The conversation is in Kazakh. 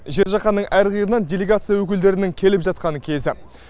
жер жақанның әр қиырынан делегация өкілдерінің келіп жатқан кезі